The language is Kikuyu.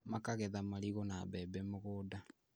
Makagetha marigũ na mbembe mũgũnda